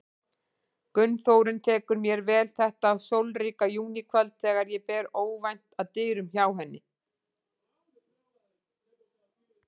Gunnþórunn tekur mér vel þetta sólríka júníkvöld þegar ég ber óvænt að dyrum hjá henni.